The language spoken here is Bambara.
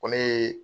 Ko ne ye